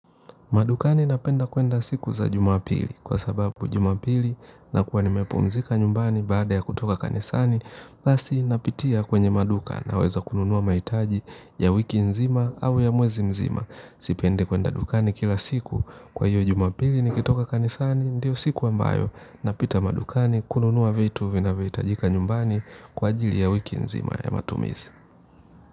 Madukani napenda kuenda siku za jumapili kwa sababu jumapili nakuwa nimepumzika nyumbani baada ya kutoka kanisani, basi napitia kwenye maduka naweza kununua mahitaji ya wiki nzima au ya mwezi mzima. Sipendi kwenda dukani kila siku kwa hiyo jumapili nikitoka kanisani ndio siku ambayo napita madukani kununua vitu vinavyohitajika nyumbani kwa ajili ya wiki nzima ya matumizi.